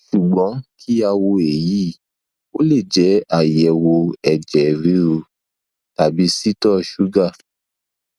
sugbon ki a wo eyi o le je aiyewo eje ruru tabicito suga